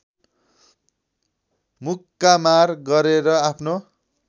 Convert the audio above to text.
मुक्कामार गरेर आफ्नो